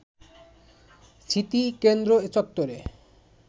স্মৃতিকেন্দ্র চত্বরে